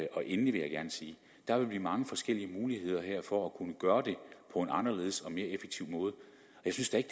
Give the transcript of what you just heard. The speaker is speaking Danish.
og endelig vil jeg gerne sige at der vil blive mange forskellige muligheder her for at kunne gøre det på en anderledes og mere effektiv måde jeg synes da ikke